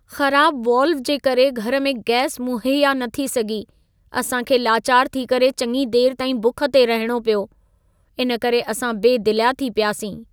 ख़राबु वाल्व जे करे घर में गैस मुहैया न थी सघी। असां खे लाचार थी करे चङी देर ताईं भुख ते रहणो पियो। इन करे असां बेदिलिया थी पियासीं।